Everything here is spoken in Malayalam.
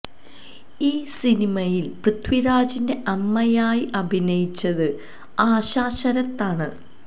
ഈ സിനിമയില് പൃഥ്വിരാജിന്റെ അമ്മയായി അഭിനയിച്ചത് ആശാ ശരത് ആണ്